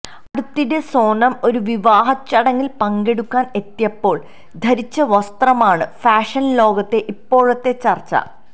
അടുത്തിടെ സോനം ഒരു വിവാഹചടങ്ങില് പങ്കെടുക്കാന് എത്തിയപ്പോള് ധരിച്ച വസ്ത്രമാണ് ഫാഷന് ലോകത്തെ ഇപ്പോഴത്തെ ചര്ച്ച